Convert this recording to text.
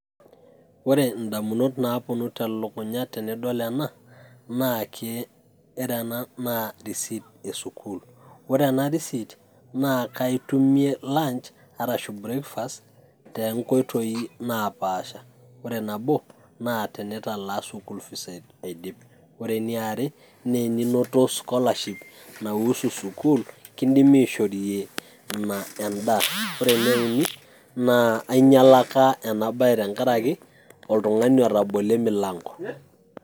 Ore indamunot naaponu telukunya tenadol ena, ore ena naa ke, ore ena naa receipt e sukuul, ore ena receipt naa kaitumie lunch arashu breakfast too nkoitoi napaasha. Ore nabo naa tenitalaa school fees aidip, ore eniare naa teninoto scholarship naiuhusu sukuul kindimi aishorie ina endaa.